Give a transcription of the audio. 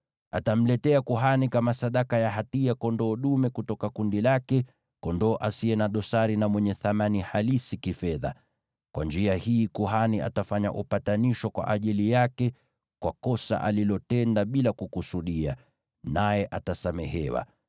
Atamletea kuhani kama sadaka ya hatia kondoo dume kutoka kundi lake, kondoo asiye na dosari na mwenye thamani halisi kifedha. Kwa njia hii kuhani atafanya upatanisho kwa ajili yake kwa kosa alilotenda bila kukusudia, naye atasamehewa.